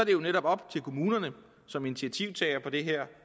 jo netop op til kommunerne som initiativtagere på det her